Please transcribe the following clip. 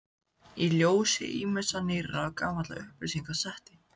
Í ljósi ýmissa nýrra og gamalla upplýsinga setti